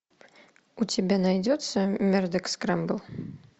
у тебя найдется мэрдок скрэмбл